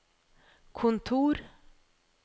kontor